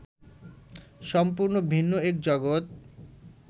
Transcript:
সম্পূর্ণ ভিন্ন এক জগত